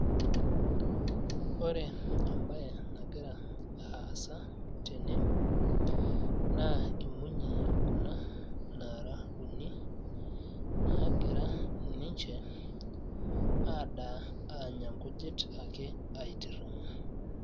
ore embaye nagira aasa tene naa imunyi kuna naara Uni naagira ninche adaa aanya nkujit ake aitirring`a.